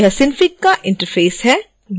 यह synfig का interface है